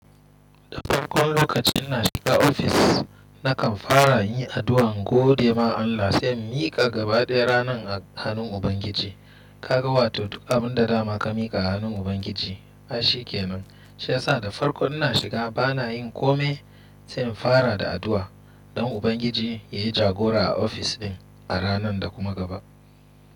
Da farkon lokacin ina shiga ofis, nakan fara in yi addu'a in gode ma Allah se in mika gaba daya ranan a hannun Ubangiji. Kaga wato duk abun da dama ka mika a hannun Ubangiji ashe kenan. Shi yasa da farko ina shiga bana yin kome se in fara da addu'a don Ubangiji yayi jagora a ofis din a ranan da kuma gaba.